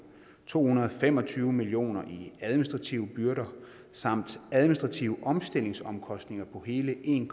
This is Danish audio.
to hundrede og fem og tyve million kroner i administrative byrder samt administrative omstillingsomkostninger på hele en